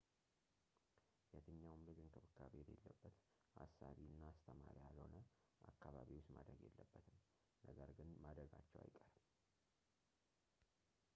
የትኛውም ልጅ እንክብካቤ የሌለበት አሳቢ እና አስተማሪ ያልሆነ አካባቢ ውስጥ ማደግ የለበትም ነገር ግን ማደጋቸው አይቀርም